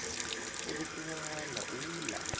u ḓo ṱuwa na uḽa